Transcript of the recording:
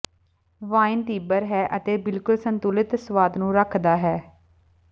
wine ਤੀਬਰ ਹੈ ਅਤੇ ਬਿਲਕੁਲ ਸੰਤੁਲਿਤ ਸੁਆਦ ਨੂੰ ਰੱਖਦਾ ਹੈ